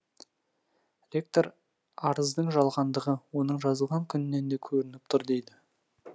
ректор арыздың жалғандығы оның жазылған күнінен де көрініп тұр дейді